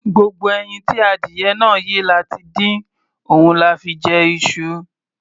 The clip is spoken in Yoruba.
Gbogbo ẹyin tí adìyẹ náà yé la ti dín, òun la fi jẹ iṣu.